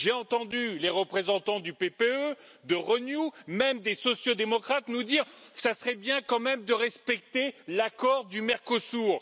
J'ai entendu les représentants du PPE, de Renew, même des sociaux démocrates, nous dire ce serait bien, quand même, de respecter l'accord du Mercosur.